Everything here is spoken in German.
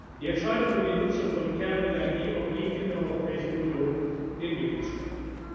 Euro kosten. Die Entscheidung über die Nutzung von Kernenergie obliegt in der Europäischen Union den Mitgliedstaaten.